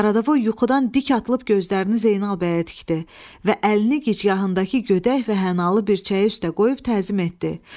Qaradavoy yuxudan dik atılıb gözlərini Zeynal bəyə tikdi və əlini gicgahındakı gödək və hənalı bircəyi üstə qoyub təzim etdi.